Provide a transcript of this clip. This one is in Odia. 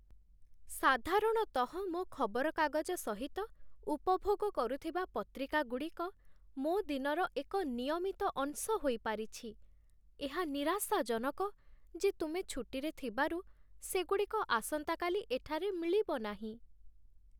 ସାଧାରଣତଃ ମୋ ଖବରକାଗଜ ସହିତ ଉପଭୋଗ କରୁଥିବା ପତ୍ରିକାଗୁଡ଼ିକ ମୋ ଦିନର ଏକ ନିୟମିତ ଅଂଶ ହୋଇପାରିଛି ଏହା ନିରାଶାଜନକ ଯେ ତୁମେ ଛୁଟିରେ ଥିବାରୁ ସେଗୁଡ଼ିକ ଆସନ୍ତାକାଲି ଏଠାରେ ମିଳିବ ନାହିଁ।